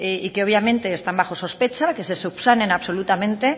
y que obviamente están bajo sospecha que se subsanen absolutamente